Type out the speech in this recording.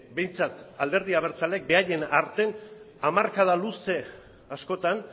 behintzat alderdi abertzaleek beraien artean hamarkada luze askotan